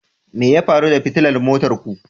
Me ya faru da fitilar motar ku